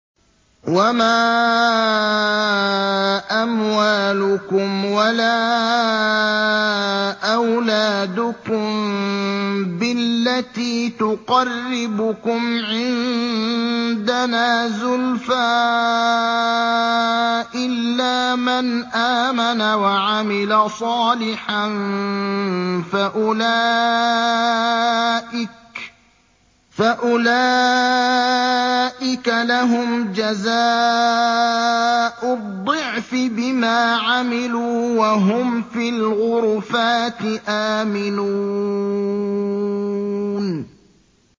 وَمَا أَمْوَالُكُمْ وَلَا أَوْلَادُكُم بِالَّتِي تُقَرِّبُكُمْ عِندَنَا زُلْفَىٰ إِلَّا مَنْ آمَنَ وَعَمِلَ صَالِحًا فَأُولَٰئِكَ لَهُمْ جَزَاءُ الضِّعْفِ بِمَا عَمِلُوا وَهُمْ فِي الْغُرُفَاتِ آمِنُونَ